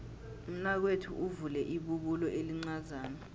umnakwethu uvule ibubulo elincazana